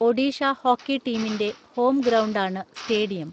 Odisha hockey ടീമിന്റെ home ഗ്രൗണ്ടാണ് stadium.